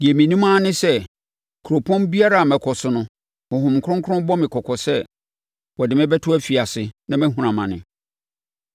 Deɛ menim ara ne sɛ kuropɔn biara a mɛkɔ so no, Honhom Kronkron bɔ me kɔkɔ sɛ wɔde me bɛto afiase na mahunu amane.